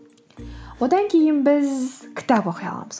одан кейін біз кітап оқи аламыз